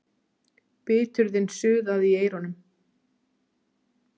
Biturðin suðaði í eyrunum.